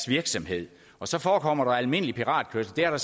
virksomhed og så forekommer der almindelig piratkørsel det har